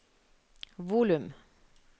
volum